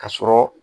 Ka sɔrɔ